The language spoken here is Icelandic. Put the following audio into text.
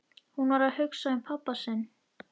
Hún var að hugsa um pabba sinn.